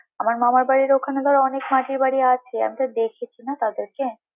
আমার মামার বাড়ির ওখানে ধর অনেক মাটির বাড়ি আছে, আমি তো দেখেছি না তাদেরকে।